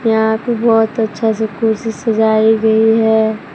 यहां पे बहोत अच्छा से कुर्सी सजाई गई है।